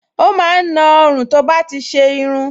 Ó máa ń na ọrùn tó bá ti ṣe irun